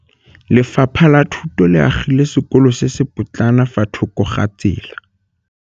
Lefapha la Thuto le agile sekôlô se se pôtlana fa thoko ga tsela.